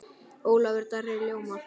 Ólafur Darri ljómar.